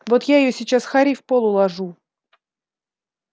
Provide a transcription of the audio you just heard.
вот я её сейчас харей в пол уложу